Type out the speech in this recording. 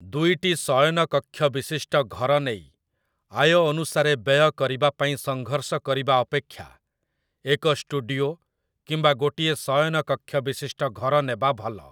ଦୁଇଟି ଶୟନକକ୍ଷ ବିଶିଷ୍ଟ ଘର ନେଇ, ଆୟ ଅନୁସାରେ ବ୍ୟୟ କରିବା ପାଇଁ ସଂଘର୍ଷ କରିବା ଅପେକ୍ଷା, ଏକ ଷ୍ଟୁଡିଓ କିମ୍ବା ଗୋଟିଏ ଶୟନକକ୍ଷ ବିଶିଷ୍ଟ ଘର ନେବା ଭଲ ।